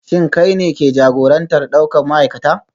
Shin kai ne ke jagorantar daukar ma'aikata?